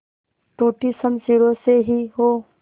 टूटी शमशीरों से ही हो